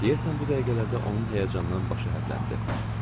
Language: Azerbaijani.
Deyəsən bu dəqiqələrdə onun həyəcandan başı hərləndi.